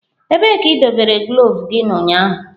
Ebee ka idobere gloves gị ụnyaahụ?